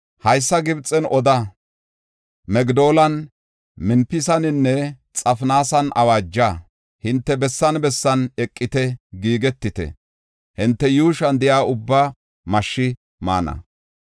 Haysa Gibxen oda; Migdoolan, Mempisaninne Xafinaasan awaaja. Hinte bessan bessan eqite; giigetite; hinte yuushuwan de7iya ubbaa mashshi maana.